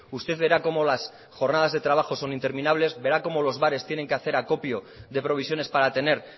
usted vera cómo las jornadas de trabajo son interminables verá como los bares tienen que hacer acopio de provisiones para tener